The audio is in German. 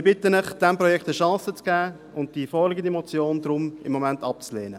Ich bitte Sie, diesem Projekt eine Chance zu geben und die vorliegende Motion deshalb im Moment abzulehnen.